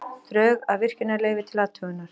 Drög að virkjunarleyfi til athugunar